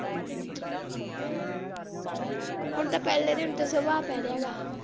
ਹੁਣ ਤੇ ਪਹਿਲੇ ਪੈ ਰਿਹਾ ਗਾ।